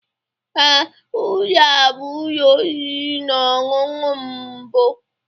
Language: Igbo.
Ee, ụlọ a bụ ụlọ oriri na ọṅụṅụ mbụ.